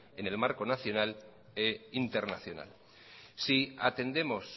en el marco nacional e internacional si atendemos